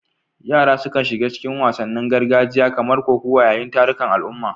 Yara sukan shiga cikin wasannin gargajiya kamar kokawa yayin tarukan al'umma.